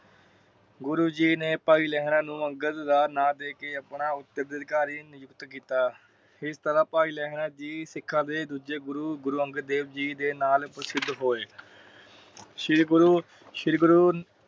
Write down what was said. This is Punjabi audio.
ਗੁਰੂ ਜੀ ਨੇ ਭਾਈ ਲਹਿਰਾ ਨੂੰ ਅਗੰਦ ਦਾ ਨਾ ਦੇਕੇ ਆਪਣਾ ਉਤਰਾ ਅਧਿਕਾਰੀ ਨਿਯੁਕਤ ਕੀਤਾ । ਇਸ ਤਰਾਹ ਭਾਈ ਲਹਿਰਾ ਜੀ ਸਿੱਖਾਂ ਦੇ ਦੂਜੇ ਗੁਰੂ ਗੁਰੂ ਅਗੰਦ ਦੇਵ ਜੀ ਨਾਲ ਪ੍ਰਸਿੱਧ ਹੋਏ । ਸ਼੍ਰੀ ਗੁਰੂ ਸ਼੍ਰੀ ਗੁਰੂ